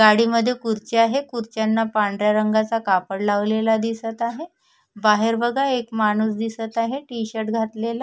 गाडी मध्ये खुर्च्या आहे खुर्च्यांना पांढऱ्या रंगाचा कापड लावलेला दिसत आहे बाहेर बघा एक माणूस दिसत आहे टि-शर्ट घातलेला.